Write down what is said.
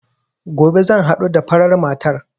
Gobe zan haɗu da farar matar